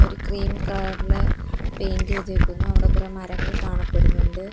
ഒരു ക്രീം കളറില് പെയിന്റ് ചെയ്തേക്കുന്നു അവടെ കുറെ മരങ്ങൾ കാണപ്പെടുന്നുണ്ട്.